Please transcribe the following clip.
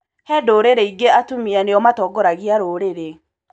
He ndũrũrũ ingĩ atumia nĩo matongoragia rũrĩrĩ.